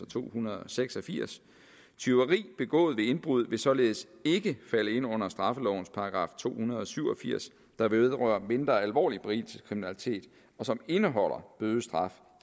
to hundrede og seks og firs tyveri begået ved indbrud vil således ikke falde ind under straffelovens § to hundrede og syv og firs der vedrører mindre alvorlig berigelseskriminalitet og som indeholder bødestraf